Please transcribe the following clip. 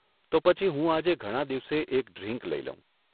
તો પછી હું આજે ઘણાં દિવસે એક ડ્રિન્ક લઇ લઉં.